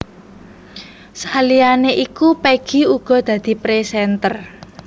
Saliyané iku Peggy uga dadi présènter